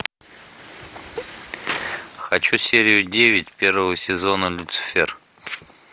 хочу серию девять первого сезона люцифер